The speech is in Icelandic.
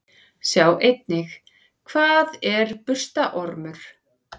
Sjá einnig: Hvað er burstaormur?